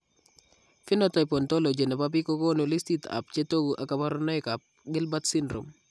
Phenotype ontology nebo biik kokoonu listit ab chetogu ak kaborunoik ab Gilbert syndrome